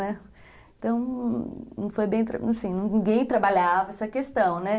Então, não foi bem, assim, ninguém trabalhava essa questão, né?